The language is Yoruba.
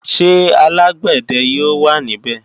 Ṣé alágbàdẹ yóò wà ní bè?